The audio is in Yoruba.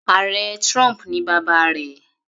Ààrẹ trump ni bàbá rẹ̀.